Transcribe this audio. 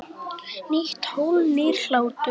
Nýtt hólf- nýr hlátur